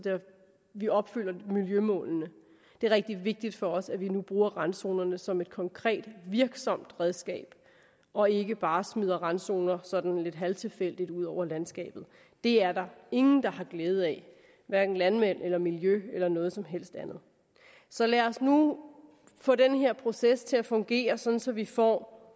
vi opfylder miljømålene det er rigtig vigtigt for os at vi nu bruger randzonerne som et konkret virksomt redskab og ikke bare smider randzoner sådan lidt halvtilfældigt ud over landskabet det er der ingen der har glæde af hverken landmændene miljøet eller noget som helst andet så lad os nu få den her proces til at fungere så så vi får